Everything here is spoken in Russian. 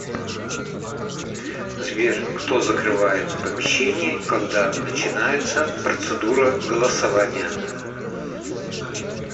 сбер кто закрывает помещение когда начинается процедура голосования